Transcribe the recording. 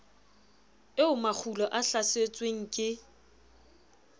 eo makgulo a hlasetsweng ke